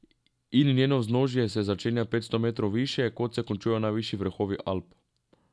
In njeno vznožje se začenja petsto metrov više, kot se končujejo najvišji vrhovi Alp ...